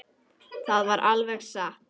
Það var alveg satt.